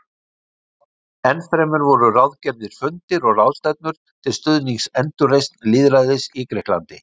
Ennfremur voru ráðgerðir fundir og ráðstefnur til stuðnings endurreisn lýðræðis í Grikklandi.